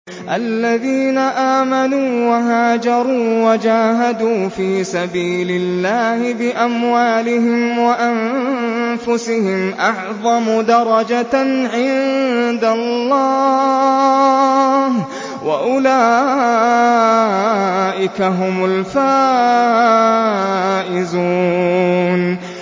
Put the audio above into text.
الَّذِينَ آمَنُوا وَهَاجَرُوا وَجَاهَدُوا فِي سَبِيلِ اللَّهِ بِأَمْوَالِهِمْ وَأَنفُسِهِمْ أَعْظَمُ دَرَجَةً عِندَ اللَّهِ ۚ وَأُولَٰئِكَ هُمُ الْفَائِزُونَ